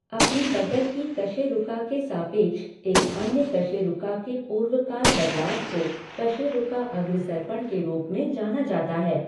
अपनी बगल की कशेरुका के सापेक्ष एक अन्य कशेरुका के पूर्वकाल बदलाव को कशेरुका अग्रसर्पण के रूप में जाना जाता है।